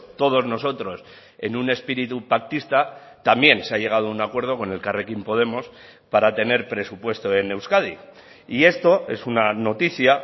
todos nosotros en un espíritu pactista también se ha llegado a un acuerdo con elkarrekin podemos para tener presupuesto en euskadi y esto es una noticia